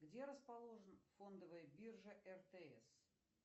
где расположен фондовая биржа ртс